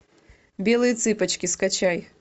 белые цыпочки скачай